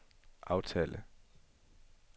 aftale